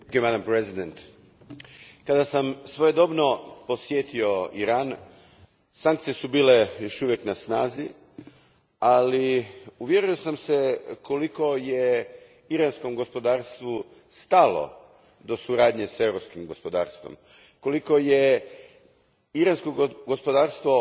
Gospođo predsjednice, kada sam svojedobno posjetio Iran sankcije su još uvijek bile na snazi, ali uvjerio sam se koliko je iranskom gospodarstvu stalo do suradnje s europskim gospodarstvom, koliko je iransko gospodarstvo